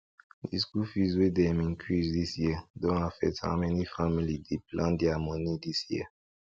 di school fees wey dem increase this year don affect how many family dey plan their money this year